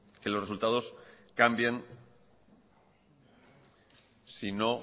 que los resultados cambien si no